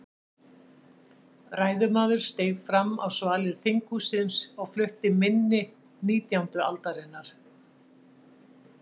Ræðumaður steig fram á svalir þinghússins og flutti minni nítjándu aldarinnar.